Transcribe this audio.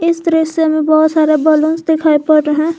इस दृश्य मे बहोत सारे बलूंस दिखाई पड़ रहे।